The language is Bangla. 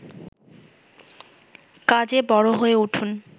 কাজে বড় হয়ে উঠুন